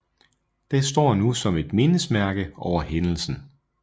Den står nu som et mindesmærke over hændelsen